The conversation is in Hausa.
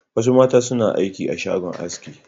Wasu mata suna aiki a shagon aski.